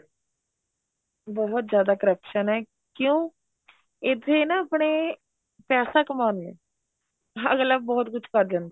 ਬਹੁਤ ਜਿਆਦਾ corruption ਏ ਕਿਉਂ ਇੱਥੇ ਨਾ ਆਪਣੇ ਪੈਸਾ ਕਮਾਉਨੇ ਏ ਅਗਲਾ ਬਹੁਤ ਕੁੱਝ ਕ਼ਰ ਜਾਂਦਾ